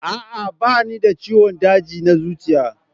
A'a, ba ni da ciwon daji na zuciya